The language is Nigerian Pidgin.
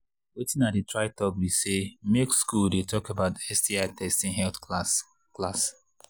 watin i they try talk be say make school they talk about sti testing health class class